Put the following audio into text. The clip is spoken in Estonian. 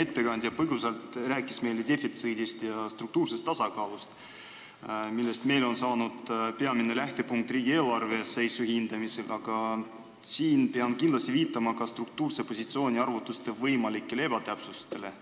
Eelmine ettekandja rääkis meile põgusalt defitsiidist ja struktuursest tasakaalust, millest on saanud meie peamine lähtepunkt riigieelarve seisu hindamisel, aga ma pean viitama ka struktuurse positsiooni arvutuste võimalikele ebatäpsustele,